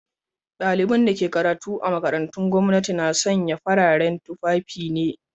Daliban da ke karatu a makarantun gwamnati na sanya fararen tufafi ne.